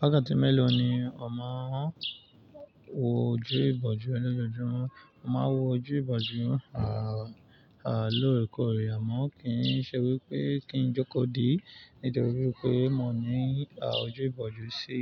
Wákàtí mélòó ni mọ wọ ojú ìbòjú lójoojúmọ́? Mọ máa wọ ojú ìbòjú, lóòrèkóòrè. Àmọ́ kì í ṣe wípé kín jókó di nítorí pé mo ní, ojú ìbòjú sí,